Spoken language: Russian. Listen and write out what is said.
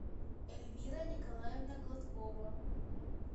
эльвира николаевна гладкова